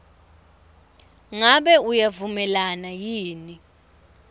ngabe uyavumelana yini